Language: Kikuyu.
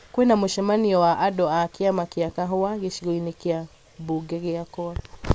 kwi na mũcemanio wa andũ a kĩama kĩa kahũa gĩcigo-inĩ kĩa mbunge gĩakwa